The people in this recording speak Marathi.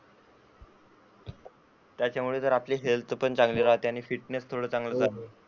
त्याच्यामुळे जर आपली हेल्थ पण चांगली राहते. आणि फिटनेस पण चांगला राहतो.